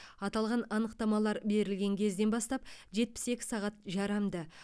аталған анықтамалар берілген кезден бастап жетпіс екі сағат жарамды